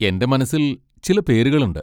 എന്റെ മനസ്സിൽ ചില പേരുകളുണ്ട്.